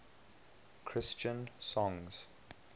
christian songs